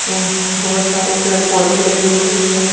वंक बहुत सारे पेड़-पौधे लगे हुए हैं।